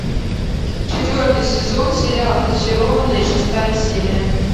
четвертый сезон сериал зачарованные шестая серия